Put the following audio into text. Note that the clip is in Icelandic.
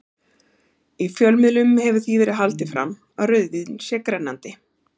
Í fjölmiðlum hefur því verið haldið fram að rauðvín sé grennandi.